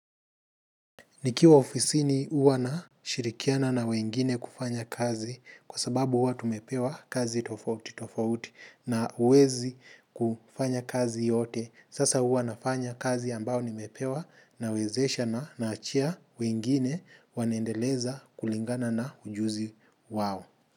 Nikiwa ofisini uwa nashirikiana na wengine kufanya kazi kwa sababu uwa tumepewa kazi tofauti tofauti na uwezi kufanya kazi yote. Sasa uwa nafanya kazi ambao nimepewa nawezesha na naachia wengine wanaendeleza kulingana na ujuzi wao.